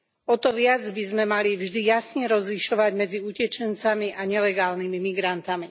O to viac by sme mali vždy jasne rozlišovať medzi utečencami a nelegálnymi migrantami.